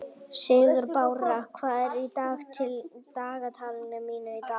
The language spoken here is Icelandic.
Sigurbára, hvað er í dagatalinu mínu í dag?